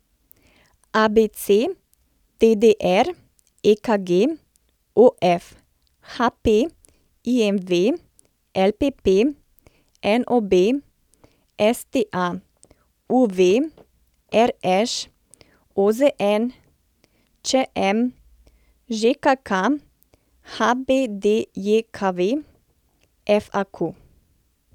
ABC, DDR, EKG, OF, HP, IMV, LPP, NOB, STA, UV, RŠ, OZN, ČM, ŽKK, HBDJKV, FAQ.